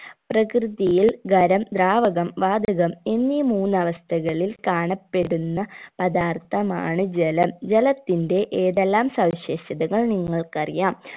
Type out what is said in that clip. പ്രകൃതിയിൽ ഖരം ദ്രാവകം വാതകം എന്നീ മൂന്ന് അവസ്ഥകളിൽ കാണപ്പെടുന്ന പദാർത്ഥമാണ് ജലം ജലത്തിന്റെ ഏതെല്ലാം സവിശേഷതകൾ നിങ്ങൾക്കറിയാം